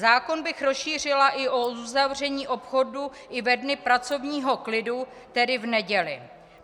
Zákon bych rozšířila i o uzavření obchodů i ve dny pracovního klidu, tedy v neděli.